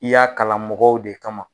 I y'a kalan mɔgɔw de kama.